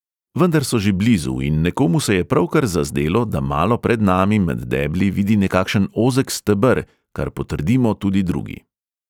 Vendar so že blizu in nekomu se je pravkar zazdelo, da malo pred nami med debli vidi nekakšen ozek steber, kar potrdimo tudi drugi.